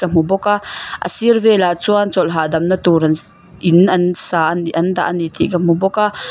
hmu bawk a a sir velah chuan chawlh hahdamna tur an sss in an sa a ni an dah a ni tih ka hmu bawk a.